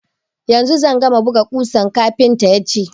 Yanzu zan gama buga ƙusan, kafinta ya ce.